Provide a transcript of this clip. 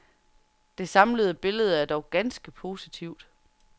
Det samlede billede er dog ganske positivt.